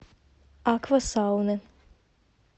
аква сауны